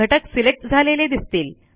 घटक सिलेक्ट झालेले दिसतील